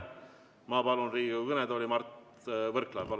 Ma palun Riigikogu kõnetooli Mart Võrklaeva.